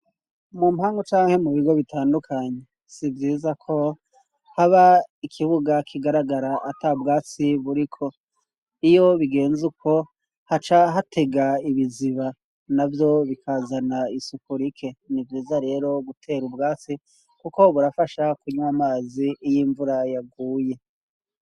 Mu mpanga canke mu bigo bitandukanyi sivyiza ko haba ikibuga kigaragara ata bwasi buriko iyo bigenze uko ha ca hatega ibiziba na vyo bikazana isuku rike ni ivyiza rero gutera ubwasi, kuko burafasha kunywa amazi iy' imvura yaguye.